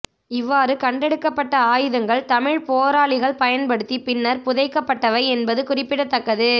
இவ்வாறு கண்டெடுக்கப்பட்ட ஆயுதங்கள் தமிழ்ப் போராளிகள் பயன்படுத்தி பின்னர் புதைக்கப்பட்டவை என்பது குறிப்பிடத்தக்கது